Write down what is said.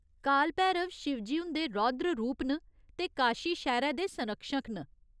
काल भैरव शिवजी हुंदे रौद्र रूप न ते काशी शैह्‌रै दे संरक्षक न।